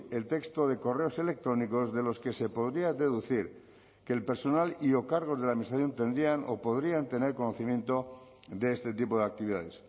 el texto de correos electrónicos de los que se podría deducir que el personal y o cargos de la administración tendrían o podrían tener conocimiento de este tipo de actividades